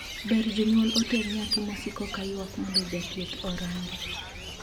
Ber jonyuol oter nyathi mosiko ka yuak mondo jathieth orange.